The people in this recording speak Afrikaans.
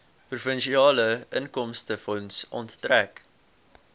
provinsiale inkomstefonds onttrek